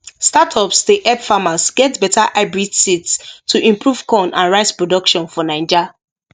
startups dey help farmers get better hybrid seeds to improve corn and rice production for naija